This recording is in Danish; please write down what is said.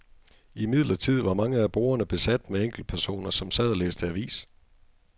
Imidlertid var mange af bordene besat med enkeltpersoner, som sad og læste avis.